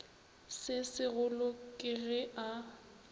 se segolo ke ge a